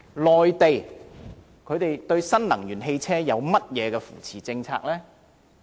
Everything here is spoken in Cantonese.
內地對新能源汽車有何扶持政策？